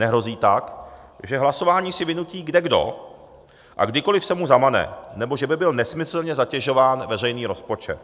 Nehrozí tak, že hlasování si vynutí kdekdo a kdykoliv se mu zamane nebo že by byl nesmyslně zatěžován veřejný rozpočet.